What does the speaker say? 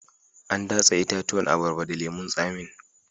An datse itatuwan abarba da lemun tsamin